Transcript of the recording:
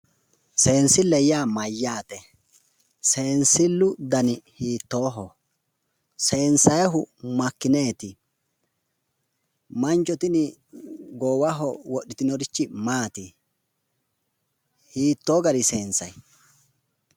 Seensille yaa mayyaate? Seensillu dani hiittooho? Seensayihu makkineeti? Mancho tini goowaho wodhitinorichi maati? Hiittoo garii sensayi?